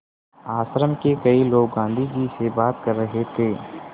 आश्रम के कई लोग गाँधी जी से बात कर रहे थे